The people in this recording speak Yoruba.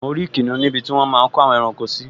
Mo rí kìnìún níbi tí wọ́n máa n kó àwọn ẹranko sí